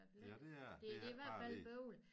Det er dér det er ikke bare lige